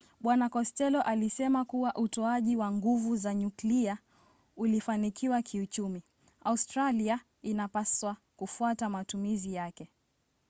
bwana kostello alisema kuwa utoaji wa nguvu za nyuklia ukifanikiwa kiuchumi australia inapaswa kufuata matumizi yake